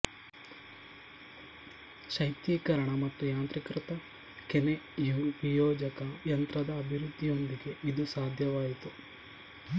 ಶೈತ್ಯೀಕರಣ ಮತ್ತು ಯಾಂತ್ರೀಕೃತ ಕೆನೆ ವಿಯೋಜಕ ಯಂತ್ರದ ಅಭಿವೃದ್ಧಿಯೊಂದಿಗೆ ಇದು ಸಾಧ್ಯವಾಯಿತು